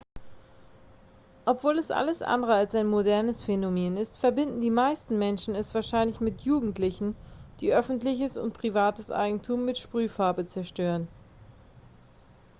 obwohl es alles andere als ein modernes phänomen ist verbinden die meisten menschen es wahrscheinlich mit jugendlichen die öffentliches und privates eigentum mit sprühfarbe zerstören